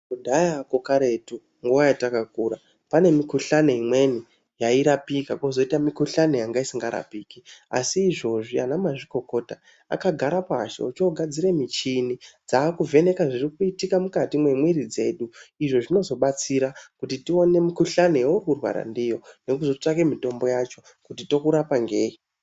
Kudhayako karetu nguva yatakakura, pane mikuhlani imweni yairapika kozoita mikuhlani yanga isingarapiki. Asi izvozvi ana mazvikokota akagara pashi ochoogadzire michini dzaakuvheneka zvirikuitika mukati memwiiri dzedu. Izvo zvinozobatsira kuti tione mikuhlani yauri kurwara ndiyo nekuzotsvake mitombo yacho kuti tokurapa ngei.